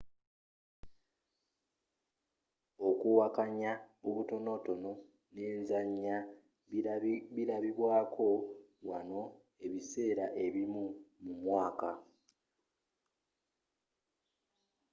okuwakanya okutonotono n'enzanya bilabibwaako wanno ebiseera ebimu mumwaaka